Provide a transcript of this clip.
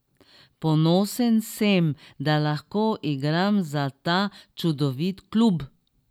Ponosen sem, da lahko igram za ta čudovit klub.